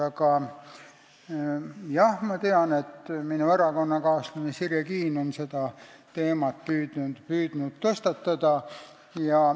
Aga jah, ma tean, et minu erakonnakaaslane Sirje Kiin on püüdnud seda teemat tõstatada.